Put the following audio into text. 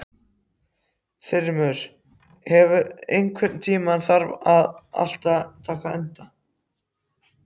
Þrymur, einhvern tímann þarf allt að taka enda.